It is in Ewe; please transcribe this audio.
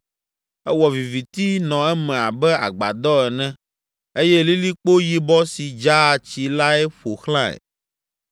Ewɔ viviti nɔ eme abe agbadɔ ene eye lilikpo yibɔ si dzaa tsi lae ƒo xlãe